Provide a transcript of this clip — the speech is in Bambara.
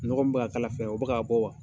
Nɔgɔ min bɛ ka kala fɛ, o bɛ ka bɔ wa